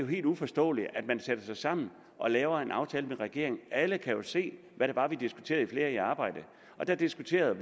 helt uforståeligt at man sætter sig sammen og laver en aftale med regeringen alle kan jo se hvad det var vi diskuterede i flere i arbejde der diskuterede